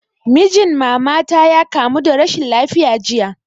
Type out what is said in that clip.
Mijin mama ta ya kamu da rashin lafiya jiya